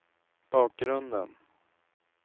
bakgrunden